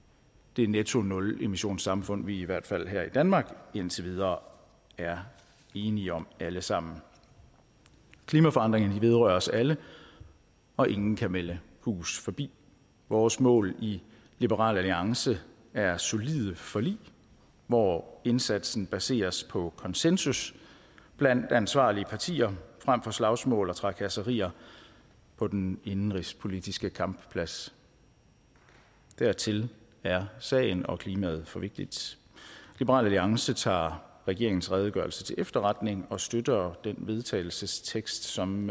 det netto nulemissionssamfund som vi i hvert fald her i danmark indtil videre er enige om alle sammen klimaforandringerne vedrører os alle og ingen kan melde hus forbi vores mål i liberal alliance er solide forlig hvor indsatsen baseres på konsensus blandt ansvarlige partier frem for slagsmål og trakasserier på den indenrigspolitiske kampplads dertil er sagen og klimaet for vigtigt liberal alliance tager regeringens redegørelse til efterretning og støtter den vedtagelsestekst som